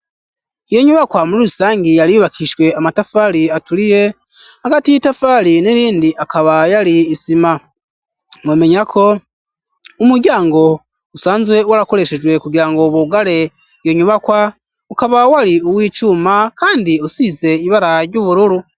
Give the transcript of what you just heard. Iyo nyubakwa muri rusangi yari yubakishwe amatafari aturiye hagati y'i tafari n'irindi akabayo ari isima momenyako umuryango usanzwe wo arakoreshejwe kugira ngo uwu bugare iyo nyubakwa ukabawe ari uwo icuma, kandi usize ibara ry'ubururu.